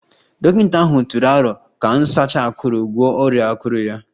Dọkịta ahụ tụrụ aro ka nsacha akuru gwọọ ọrịa akụrụ ya